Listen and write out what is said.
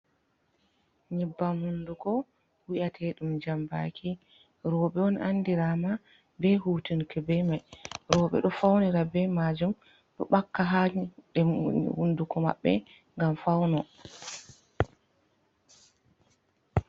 Nyibbam hunduko wi'ate ɗum jambaki, rewɓe on andirama be hutinke be mai, rewɓeɗo faunira be majuum, ɗo baka ha hunduko maɓɓe gam fauno.